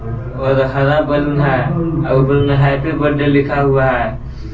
और हरा बैलून है और ऊपर में हैप्पी बर्थडे लिखा हुआ है।